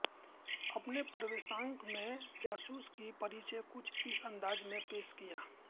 अपने प्रवेशांक में जासूस की परिचय कुछ इस अंदाज में पेश किया